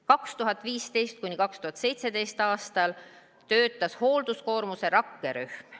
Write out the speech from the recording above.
2015.–2017. aastal töötas hoolduskoormuse rakkerühm.